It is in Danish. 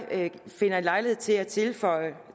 finder lejlighed til at tilføje